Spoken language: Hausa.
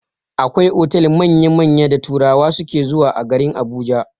Akwai otal manya-manya da turawa suke zuwa a garin Abuja.